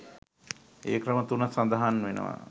ඒ ක්‍රම තුන සඳහන් වෙනවා.